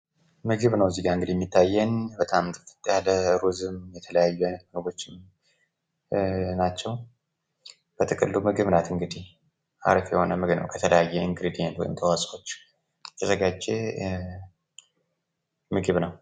ምግብ ነው እንግዲህ እዚህጋ የሚታየን በጣም ጥፍጥ ያለ ሩዝም የተለያዩ አይነት ምግቦችም ናቸው። በጥቅሉ ምግብ ናት እንግዲህ። አሪፍ የሆነ ምግብ ነው ከተለያዩ እንግሪዴንት ወይም ተዋጾዎች የተዘጋጀ ምግብ ነው።